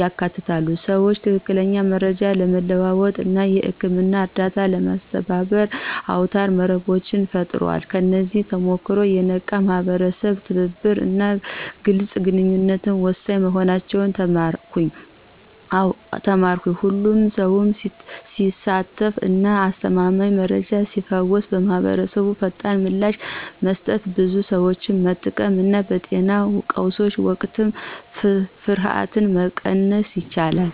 ያካትታሉ። ሰዎች ትክክለኛ መረጃን ለመለዋወጥ እና የህክምና እርዳታን ለማስተባበር አውታረ መረቦችን ፈጥረዋል። ከዚህ ተሞክሮ፣ የነቃ የማህበረሰብ ትብብር እና ግልጽ ግንኙነት ወሳኝ መሆናቸውን ተማርኩ። ሁሉም ሰው ሲሳተፍ እና አስተማማኝ መረጃ ሲፈስ ማህበረሰቡ ፈጣን ምላሽ መስጠት፣ ብዙ ሰዎችን መጠበቅ እና በጤና ቀውሶች ወቅት ፍርሃትን መቀነስ ይችላል።